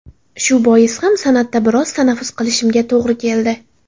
Shu bois ham san’atda biroz tanaffus qilishimga to‘g‘ri keldi.